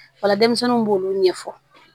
O la denmisɛnninw b'olu ɲɛfɔ